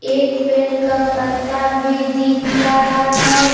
एक पेड़ का पत्ता भी दिख रहा है।